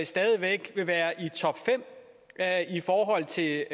stadig væk vil være i topfem i forhold til